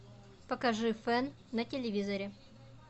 покажи фэн на телевизоре